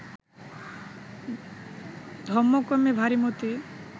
ধম্মকম্মে ভারি মতি